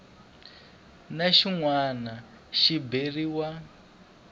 na xin wana xi beriwa